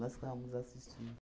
ficávamos assistindo.